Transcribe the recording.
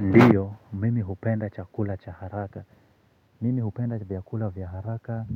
Ndio mimi hupenda chakula cha haraka. Mimi hupenda vyakula vya haraka.